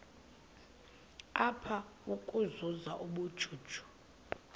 apha ukuzuza ubujuju